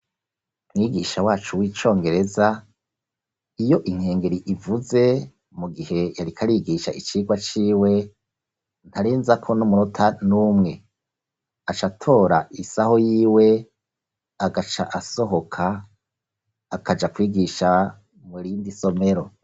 Mwigisha wacu w'icongereza, iyo inkengeri ivuze mu gihe yariko arigisha icigwa ciwe, ntarenzako n'umunota n'umwe; acatora isaho yiwe agaca asohoka, akaja kwigisha mu rindi somero.